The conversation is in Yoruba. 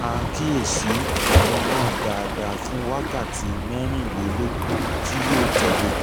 máa kíyèsí ọmọ náà dáadáa fún wákàtí mẹ́rìnlélógún tí yóò tẹ̀le